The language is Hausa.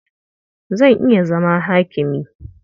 Zan iya zama hakimi.